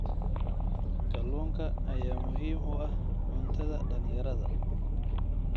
Kalluunka ayaa muhiim u ah cuntada dhalinyarada.